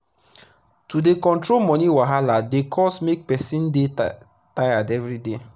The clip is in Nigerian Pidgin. to dey control money wahaladey cause make person dey tired everyday.